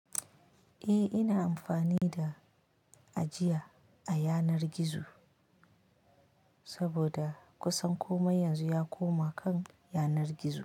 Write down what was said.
Eh, ina amfani da ajiya a yanar gizo saboda kusan komai yanzu ya koma kan yanar gizo.